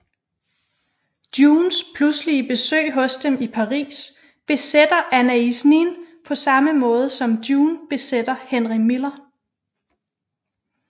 Junes pludselige besøg hos dem i Paris besætter Anaïs Nin på samme måde som June besætter Henry Miller